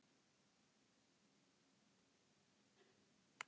Líftímann mætti því einnig kalla helmingunartíma.